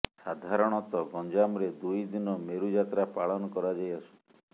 ସାଧାରଣତଃ ଗଞ୍ଜାମରେ ଦୁଇଦିନ ମେରୁ ଯାତ୍ରା ପାଳନ କରାଯାଇ ଆସୁଛି